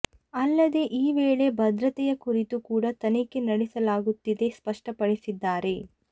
ಅಲ್ಲದೇ ಈ ವೇಳೆ ಭದ್ರತೆಯ ಕುರಿತು ಕೂಡ ತನಿಖೆ ನಡೆಸಲಾಗುತ್ತಿದೆ ಸ್ಪಷ್ಟಪಡಿಸಿದ್ದಾರೆ